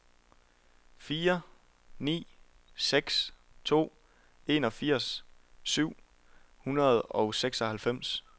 fire ni seks to enogfirs syv hundrede og seksoghalvfems